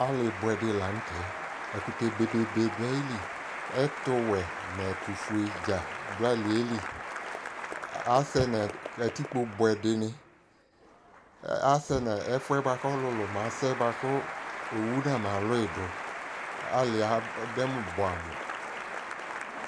ali boɛ di lantɛ ɛkotɛ be be be do ayili ɛto wɛ no ɛto fue dza do aliɛ li asɛ no katikpo buɛ di ni asɛ no ɛfuɛ boa ko ɔlolo ma sɛ boa ko owu na ma loui do aliɛ adɛmo boɛ amo